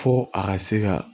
Fo a ka se ka